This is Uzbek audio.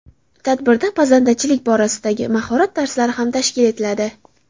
Tadbirda pazandachilik borasidagi mahorat darslari ham tashkil etiladi.